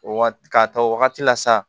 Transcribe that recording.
O waga k'a ta o wagati la sa